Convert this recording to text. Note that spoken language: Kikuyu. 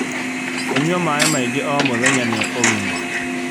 Kũnyua maĩĩ maingĩ o mũthenya nĩ ũgima